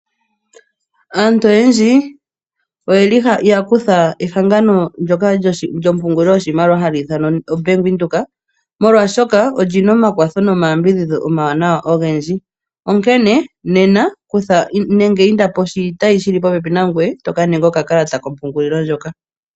Aantu oyendji oyeli yakutha ehangano ndoka lyompungulilo yoshimaliwa hali ithanwa Bank widhoek molwaashoka olina omakwatho nomayambidhisho goshimaliwa ogendji onkene nena inda poshitayi ahili popepi nangoye eto kaninga okakalata kompungulilo ndjoka.